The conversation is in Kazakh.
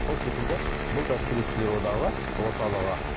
сол секілді бұл да суретшілер одағы орталығы